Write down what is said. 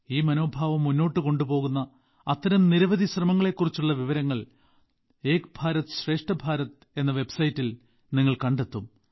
ഈ മനോഭാവം മുന്നോട്ട് കൊണ്ടുപോകുന്ന അത്തരം നിരവധി ശ്രമങ്ങളെക്കുറിച്ചുള്ള വിവരങ്ങൾ ഏക് ഭാരത് ശ്രേഷ്ഠ ഭാരത് എന്ന വെബ്സൈറ്റിൽ നിങ്ങൾ കണ്ടെത്തും